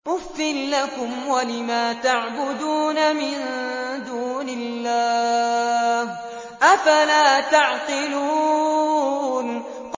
أُفٍّ لَّكُمْ وَلِمَا تَعْبُدُونَ مِن دُونِ اللَّهِ ۖ أَفَلَا تَعْقِلُونَ